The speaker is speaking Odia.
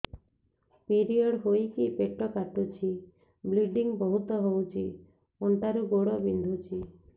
ପିରିଅଡ଼ ହୋଇକି ପେଟ କାଟୁଛି ବ୍ଲିଡ଼ିଙ୍ଗ ବହୁତ ହଉଚି ଅଣ୍ଟା ରୁ ଗୋଡ ବିନ୍ଧୁଛି